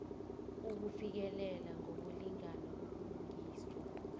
ukufikelela ngokulingana ubulungiswa